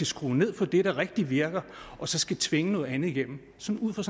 skrue ned for det der rigtig virker og så skulle tvinge noget andet igennem sådan ud fra